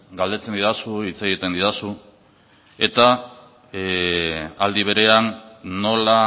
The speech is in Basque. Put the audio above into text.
galdetzen didazu hitz egiten didazu eta aldi berean nola